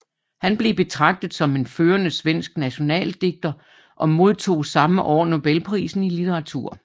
Han blev betragtet som en førende svensk nationaldigter og modtog samme år nobelprisen i litteratur